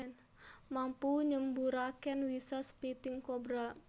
Mampu nyemburaken wisa spitting cobra